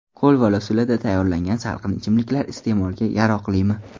Qo‘lbola usulida tayyorlangan salqin ichimliklar iste’molga yaroqlimi?